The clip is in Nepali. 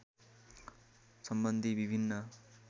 सम्बन्धी विभिन्न